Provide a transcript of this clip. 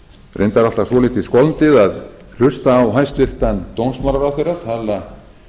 reyndar er alltaf svolítið skondið að hlusta á hæstvirtan dómsmálaráðherra tala